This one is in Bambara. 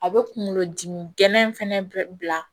A bɛ kunkolo dimi gɛlɛn in fana bɛ bila